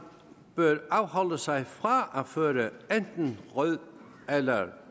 bør afholde sig fra at føre enten rød eller